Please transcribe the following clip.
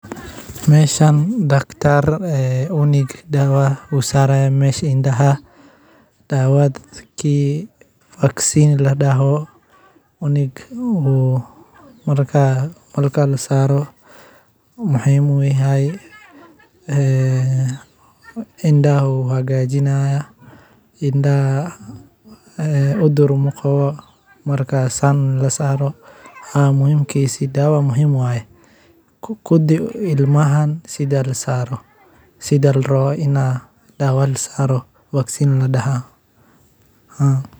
Meshan dakhtar cunug daawa u saraaya indhaha daawa vaccine la dhaho cunug oo markaa marka la saaro waxa ee ay indhaha uu hagajinaya ,indhaha cudur na qawo marka san la saaro markaa dawadan muhiim waye kuddi ilmaha sida la rawo in daawad la saaro vaccine la dhahaa haa.